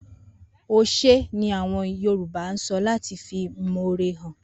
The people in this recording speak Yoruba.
Oshey' ni awon Yoruba so lati fi imoore han